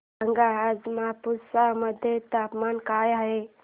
सांगा आज मापुसा मध्ये तापमान काय आहे